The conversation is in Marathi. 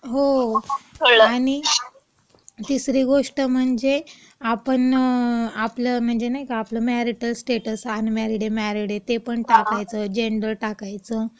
हो, आणि तिसरी गोष्ट म्हणजे आपण म्हणजे नाही का आपलं मॅरीटल स्टेटस अनमॅरीड आहे-मॅरीड आहे ते पण टाकायचं, जेंडर टाकायचं.